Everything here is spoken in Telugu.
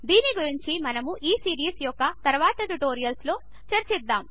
దీని గురించి మనము ఈ సీరీస్ యొక్క తరువాతి ట్యుటోరియల్స్లో చర్చిద్దాము